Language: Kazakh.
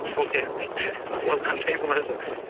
мхм сол сияқты дейді де ол қандай болады